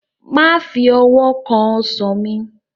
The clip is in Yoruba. Má fi owó kan Ọsàn mi!